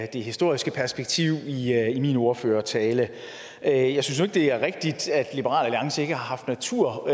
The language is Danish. det historiske perspektiv i min ordførertale jeg synes det er rigtigt at liberal alliance ikke har haft natur